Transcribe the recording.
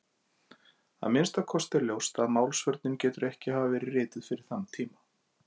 Að minnsta kosti er ljóst að Málsvörnin getur ekki hafa verið rituð fyrir þann tíma.